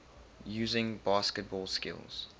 using basketball skills